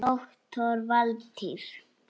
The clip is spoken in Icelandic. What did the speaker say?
Doktor Valtýr